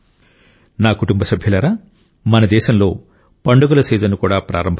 నా కుటుంబ సభ్యులారా మన దేశంలో పండుగల సీజన్ కూడా ప్రారంభమైంది